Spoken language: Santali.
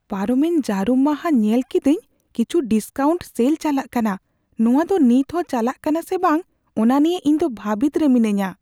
ᱯᱟᱨᱚᱢᱮᱱ ᱡᱟᱹᱨᱩᱢ ᱢᱟᱦᱟ ᱧᱮᱞ ᱠᱮᱫᱟᱹᱧ ᱠᱤᱪᱷᱩ ᱰᱤᱥᱠᱟᱣᱩᱱᱴ ᱥᱮᱞ ᱪᱟᱞᱟᱜ ᱠᱟᱱᱟ ᱾ ᱱᱚᱶᱟ ᱫᱚ ᱱᱤᱛᱦᱚᱸ ᱪᱟᱞᱟᱜ ᱠᱟᱱᱟ ᱥᱮ ᱵᱟᱝ ᱚᱱᱟ ᱱᱤᱭᱟᱹ ᱤᱧ ᱫᱚ ᱵᱷᱟᱹᱵᱤᱛ ᱨᱮ ᱢᱤᱱᱟᱹᱧᱟ ᱾